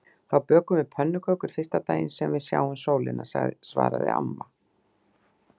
Þá bökum við pönnukökur fyrsta daginn sem við sjáum sólina svaraði amma.